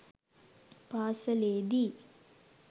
පාසලේ දී